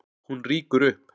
Hún rýkur upp.